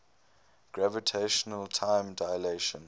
gravitational time dilation